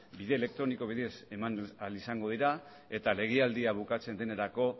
bide elektroniko bidez eman ahal izango dira eta legealdia bukatzen denerako